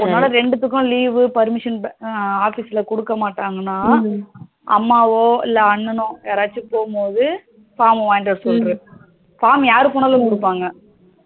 உன்னால ரெண்டுத்துக்கும் leave, permission office ல குடுக்க மாட்டங்கனாஅம்மாவோ இல்ல அண்ணானோ யாராச்சும் போகும் போது form வாங்கிட்டு வர சொல்லிரு form யாரு போனாலும் குடுப்பாங்க